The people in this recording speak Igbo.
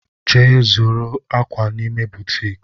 Je zuru akwa n'ime butiiki!